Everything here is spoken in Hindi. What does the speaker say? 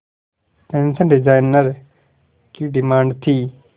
फैशन डिजाइनर की डिमांड थी